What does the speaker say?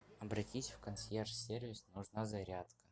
обратись в консьерж сервис нужна зарядка